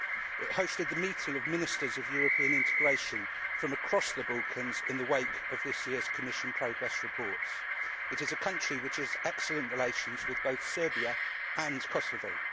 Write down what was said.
It hosted the meeting of Ministers of European Integration from across the Balkans in the wake of this year's Commission progress reports. It is a country which has excellent relations with both Serbia and Kosovo.